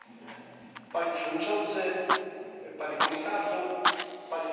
Panie Przewodniczący! Panie Komisarzu! Panie Prezesie!